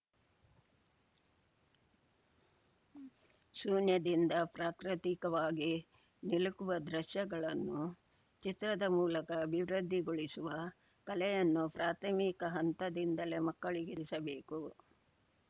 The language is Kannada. ಶೂನ್ಯದಿಂದ ಪ್ರಾಕೃತಿಕವಾಗಿ ನಿಲುಕುವ ದೃಶ್ಯಗಳನ್ನು ಚಿತ್ರದ ಮೂಲಕ ಅಭಿವೃದ್ಧಿಗೊಳಿಸುವ ಕಲೆಯನ್ನು ಪ್ರಾಥಮಿಕ ಹಂತದಿಂದಲೇ ಮಕ್ಕಳಿಗೆ ತಿಳಿಸಬೇಕು